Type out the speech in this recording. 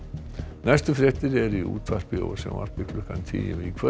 næstu fréttir eru í útvarpi og sjónvarpi klukkan tíu í kvöld